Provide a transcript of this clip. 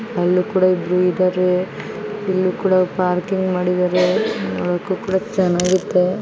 ಅಲ್ಲೂ ಕೊಡ ಇಬ್ರು ಇದಾರೆ ಇಲ್ಲಿ ಕೊಡ ಪಾರ್ಕಿಂಗ್ ಮಾಡಿದಾರೆ ಚೆನ್ನಾಗಿರುತ್ತೆ ನೋಡಕ್ಕೂ ಕೂಡ ಚೆನ್ನಾಗೈತೆ.